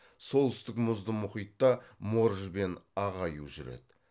солтүстік мұзды мұхитта морж бен ақ аю жүреді